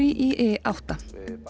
í i átta